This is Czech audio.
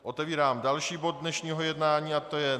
Otevírám další bod dnešního jednání a tím je